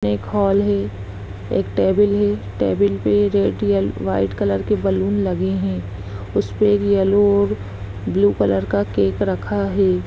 ये एक हॉल है एक टेबल है। टेबल पे जो व्हाइट कलर के बलून लगे हैं। उसपे येलो और ब्लू कलर का केक रखा है।